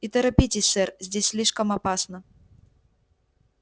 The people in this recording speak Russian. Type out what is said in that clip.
и торопитесь сэр здесь слишком опасно